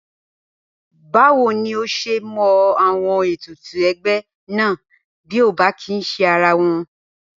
Báwo ni o s̩e mo̩ àwo̩n ètùtù e̩gbé̩ náà bí o ò bá kì í s̩e ara wo̩n?